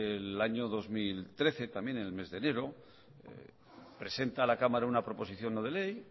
en el año dos mil trece también en el mes de enero presenta a la cámara una proposición no de ley